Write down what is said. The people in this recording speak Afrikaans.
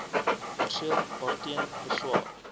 perseel waarteen beswaar